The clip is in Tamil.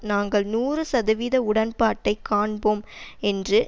நாங்கள் நூறு சதவீத உடன்பாட்டை காண்போம் என்று